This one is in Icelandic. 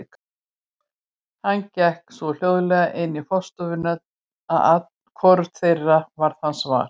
Hann gekk svo hljóðlega inn í forstofuna að hvorugt þeirra varð hans var.